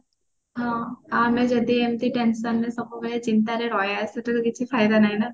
ହଁ ଆମେ ଯଦି ଏମତି tension ରେ ସବୁବେଳେ ଚିନ୍ତା ରେ ରହିବା ସେଥିରେ କିଛି ଫାଇଦା ନାହିଁ ନା